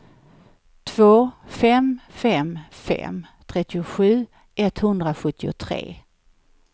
två fem fem fem trettiosju etthundrasjuttiotre